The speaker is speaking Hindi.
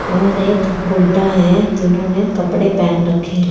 और एक गुड्डा है जिन्होंने कपड़े पेहेन रखे है।